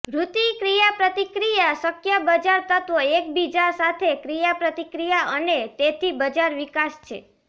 વૃત્તિ ક્રિયાપ્રતિક્રિયા શક્ય બજાર તત્વો એકબીજા સાથે ક્રિયાપ્રતિક્રિયા અને તેથી બજાર વિકાસ છે